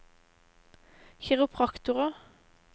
kiropraktorer